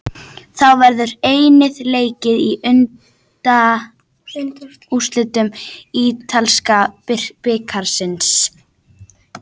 Þá verður einnig leikið í undanúrslitum ítalska bikarsins.